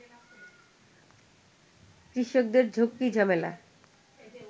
কৃষকদের ঝক্কিঝামেলা